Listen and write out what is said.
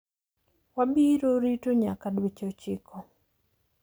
Wabiro rito nyaka dweche ochiko.